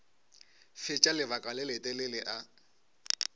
fetša lebaka le letelele a